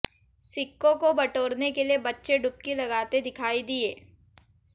सिक्कों को बटोरने के लिए बच्चे डुबकी लगाते दिखाई दिए